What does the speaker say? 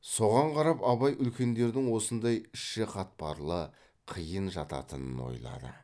соған қарап абай үлкендердің осындай іші қатпарлы қиын жататынын ойлады